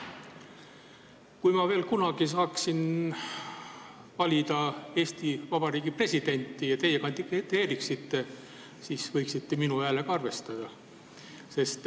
Kui ma veel kunagi saaksin valida Eesti Vabariigi presidenti ja teie kandideeriksite, siis võiksite minu häälega arvestada.